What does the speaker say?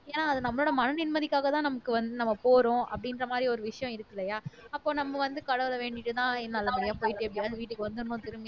yeah அது நம்மளோட மன நிம்மதிக்காகதான் நமக்கு வந்து நம்ம போறோம் அப்படின்ற மாறி ஒரு விஷயம் இருக்குள்ளயா அப்போ நம்ம வந்து கடவுளை வேண்டிட்டுதான் நல்லபடியா போயிட்டு எப்படியாவது வீட்டுக்கு வந்துடணும் திரும்பி